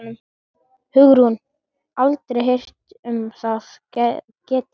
Hugrún: Aldrei heyrt um það getið?